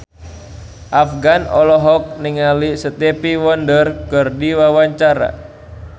Afgan olohok ningali Stevie Wonder keur diwawancara